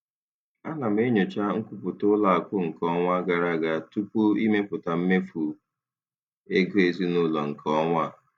Ana m enyocha nkwupụta ụlọ akụ nke ọnwa gara aga tupu ịmepụta mmefu ego ezinụlọ nke ọnwa a.